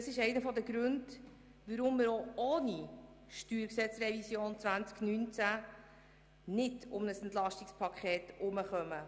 Das ist einer der Gründe, weshalb wir auch ohne die StG-Revision 2019 nicht um ein EP herumkommen.